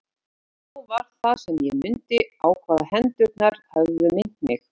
Og þá var það sem ég mundi á hvað hendurnar höfðu minnt mig.